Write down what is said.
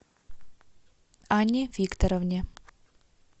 анне викторовне